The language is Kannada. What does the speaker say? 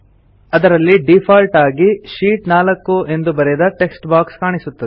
ಅದರಲ್ಲಿ ಡೀಫಾಲ್ಟ್ ಆಗಿ ಶೀಟ್ 4 ಎಂದು ಬರೆದ ಟೆಕ್ಸ್ಟ್ ಬಾಕ್ಸ್ ಕಾಣಿಸುತ್ತದೆ